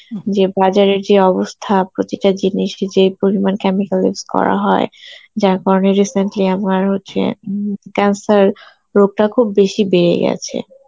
যে বাজারের যে অবস্থা প্রতিটা জিনিসকে যে পরিমাণ chemical use করা হয় যার কারণে recently আমার হচ্ছে উম cancer রোগটা খুব বেশি বেড়ে গেছে.